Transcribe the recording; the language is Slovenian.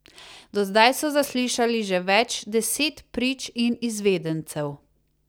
Do zdaj so zaslišali že več deset prič in izvedencev.